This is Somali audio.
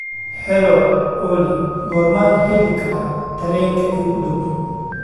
hello olly goormaan heli karaa tareenka iigu dhow